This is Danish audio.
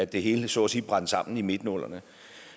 det hele så at sige brændte sammen i midten af nullerne